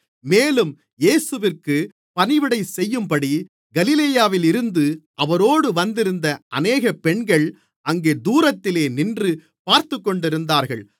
மேலும் இயேசுவிற்கு பணிவிடைசெய்யும்படி கலிலேயாவிலிருந்து அவரோடு வந்திருந்த அநேக பெண்கள் அங்கே தூரத்திலே நின்று பார்த்துக்கொண்டிருந்தார்கள்